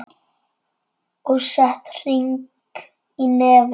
Og sett hring í nefið.